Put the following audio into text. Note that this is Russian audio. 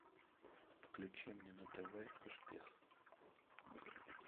включи мне на тв успех